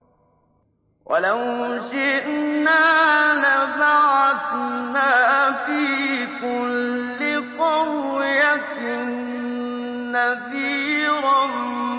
وَلَوْ شِئْنَا لَبَعَثْنَا فِي كُلِّ قَرْيَةٍ نَّذِيرًا